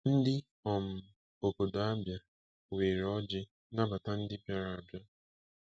Ndị um obodo Abia were ọjị nabata ndị bịara abịa.